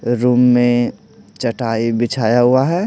Room में चटाई बिछाया हुआ है।